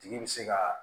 Tigi bɛ se ka